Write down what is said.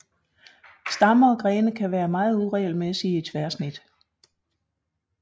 Stammer og grene kan være meget uregelmæssige i tværsnit